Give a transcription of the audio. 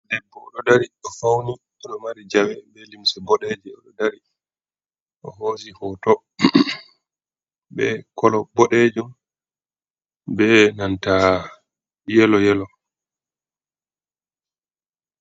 Debbo oɗo dari, o fauni oɗo mari jawe be limse boɗejum, oḍo dari o hosi hoto be kolo boɗejum, be nanta yelo yelo.